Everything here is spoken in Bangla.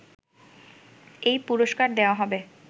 এই পুরস্কার দেয়া হবে